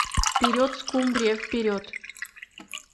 вперед скумбрия вперед